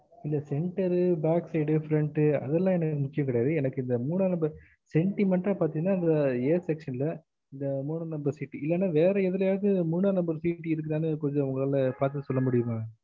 இந்த center backside அது எல்லாம் எனக்கு முக்கியம் இல்ல எனக்கு இந்த மூணா number sentiment அ பாத்தேங்கன்னா அந்த a section ல அந்த மூணாம் number seat இல்ல வேற எதுலயாவது மூணா number seat இருக்குதான்னு ஒங்களால பாத்து சொல்ல முடியும்மா maam